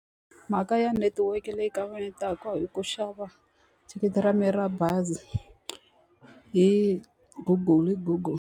Mhaka ya netiweke leyi kavanyetaka hi ku xava thikithi ra mina ra bazi hi Google hi Google.